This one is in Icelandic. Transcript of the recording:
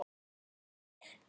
HREYFA MIG!